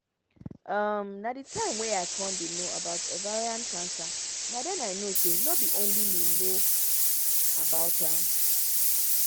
um na the time wey i con dey no about ovarian cancer na den i know say no be only me no know about am